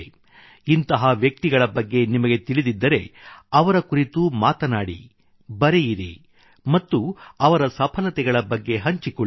ಇಂತಹ ವ್ಯಕ್ತಿಗಳ ಬಗ್ಗೆ ನಿಮಗೆ ತಿಳಿದಿದ್ದರೆ ಅವರ ಕುರಿತು ಮಾತನಾಡಿ ಬರೆಯಿರಿ ಮತ್ತು ಅವರ ಸಫಲತೆಗಳ ಬಗ್ಗೆ ಹಂಚಿಕೊಳ್ಳಿ